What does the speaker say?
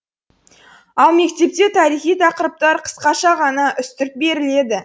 ал мектепте тарихи тақырыптар қысқаша ғана үстірт беріледі